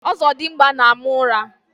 Ọzọdimgba na-ama ụra.